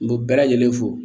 N ko bɛɛ lajɛlen fo